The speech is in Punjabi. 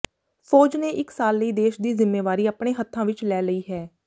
ਫ਼ੌਜ ਨੇ ਇਕ ਸਾਲ ਲਈ ਦੇਸ਼ ਦੀ ਜਿੰਮੇਵਾਰੀ ਅਪਣੇ ਹੱਥਾਂ ਵਿਚ ਲੈ ਲਈ ਹੈ